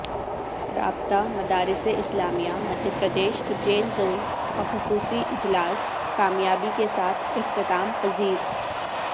رابطہ مدارس اسلامیہ مدھیہ پردیش اجین ژون کا خصوصی اجلاس کامیابی کے ساتھ اختتام پذیر